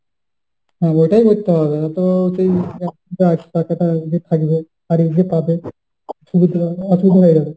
হ্যাঁ ওটাই করতে হবে নয়তো সেই টাকাটা ওরকমই থাকবে হারিয়েছে কবে অসুবিধা হয়ে যাবে।